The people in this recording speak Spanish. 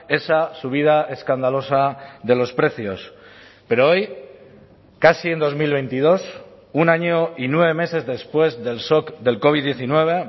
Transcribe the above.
esa subida escandalosa de los precios pero hoy casi en dos mil veintidós un año y nueve meses después del shock del covid diecinueve